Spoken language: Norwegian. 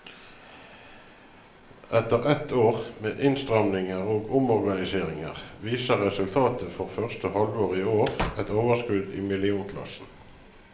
Etter ett år med innstramninger og omorganiseringer, viser resultatet for første halvår i år et overskudd i millionklassen.